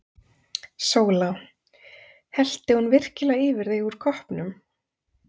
SÓLA: Hellti hún virkilega yfir þig úr koppnum!